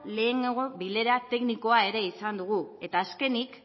lehenago bilera teknikoa izan dugu eta azkenik